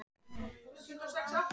Hann þarf að gera það.